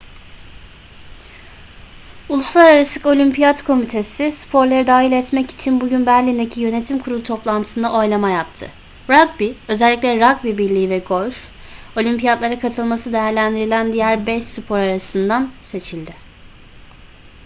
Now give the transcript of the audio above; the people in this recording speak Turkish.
uluslararası olimpiyat komitesi sporları dahil etmek için bugün berlin'deki yönetim kurulu toplantısında oylama yaptı rugby özellikle rugby birliği ve golf olimpiyatlara katılması değerlendirilen diğer beş spor arasından seçildi